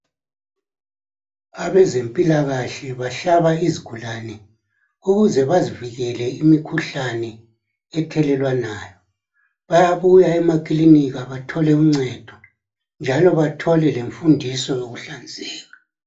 Abezempilakahle bahlaba izigulane ukuze bazivikele imikhuhlane ethelelwanayo. Bayabuya emakilinika bathole uncedo njalo bathole lenfundiso yokuhlanzeka.